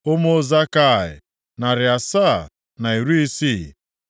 Ụmụ Zakai, narị asaa na iri isii (760).